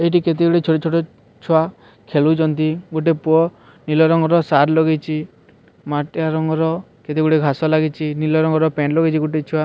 ଏଠି କେତେ ଗୁଡ଼ିଏ ଛୋଟ ଛୋଟ ଛୁଆ ଖେଳୁଛନ୍ତି ଗୋଟେ ପୁଅ ନୀଳ ରଂଗର ସାର୍ଟ ଲଗେଇଛି ମାଟିଆ ରଙ୍ଗର କେତେ ଗୁଡ଼ିଏ ଘାସ ଲାଗିଛି ନୀଳ ରଂଗର ପ୍ୟାଣ୍ଟ୍ ଲାଗିଛି ଗୋଟେ ଛୁଆ।